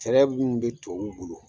Fɛrɛɛ minnu bɛ tubabuw bolo